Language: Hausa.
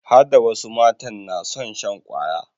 Hada wasu matan na son shan kwaya